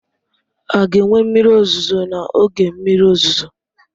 A ga-enwe mmiri ozuzo n'oge mmiri ozuzo?